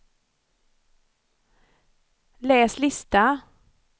läs lista